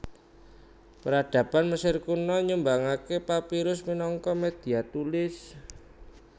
Peradaban Mesir Kuna nyumbangaké papirus minangka média tulis